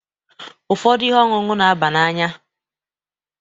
Ụfọdụ ihe ọṅụṅụ n'aba n'anya.